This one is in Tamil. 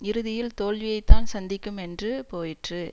இறுதியில் தோல்வியைத்தான் சந்திக்கும் என்று போயிற்று